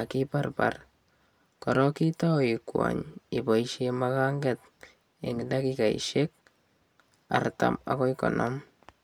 ak ibarbar korok itau ikwany iboishe maganket eng dakikaishek artam akoi konom.